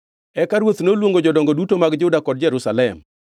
Eka ruoth noluongo jodongo duto mag Juda kod Jerusalem.